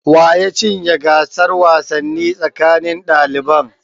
Wa ya cinye gasar wasanni tsakanin daliban?